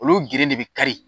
Olu geren de bi kari